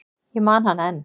Ég man hana enn.